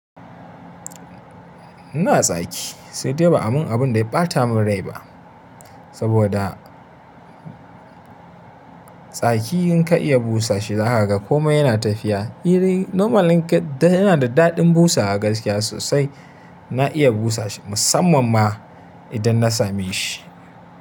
Ina tsaki sai dai ba a mun abun da ya ɓata mun rai ba, saboda tsaki in ka iya busa shi za ka ga komai yana tafiya. Irin normally in ka yana da daɗin busawa gaskiya sosai. Na iya busa shi musamman ma idan na same shi.